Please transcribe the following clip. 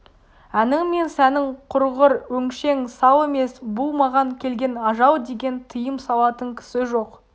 әнің мен сәнің құрғыр өңшең сал емес бұл маған келген ажал деген тыйым салатын кісі жоқ